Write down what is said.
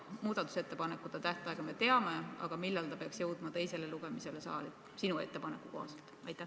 Muudatusettepanekute tähtaega me teame, aga millal eelnõu peaks jõudma teisele lugemisele saali sinu ettepaneku kohaselt?